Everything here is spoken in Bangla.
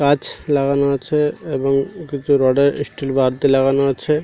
গাছ লাগানো আছে এবং কিছু রড -এর ইস্টিল বার লাগানো আছে।